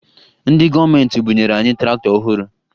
Ndị gọọmenti bunyere anyị traktọ ọhụrụ